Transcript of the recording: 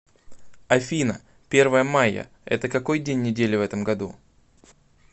афина первое майя это какой день недели в этом году